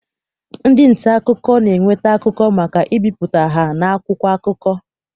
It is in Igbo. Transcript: Ndị nta akụkọ na-eweta akụkọ maka ibipụta ha n'akwụkwọ akụkọ.